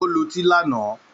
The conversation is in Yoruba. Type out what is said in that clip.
Ó lutí lánàá